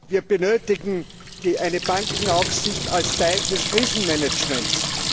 Wir benötigen eine Bankenaufsicht als Teil des Krisenmanagements.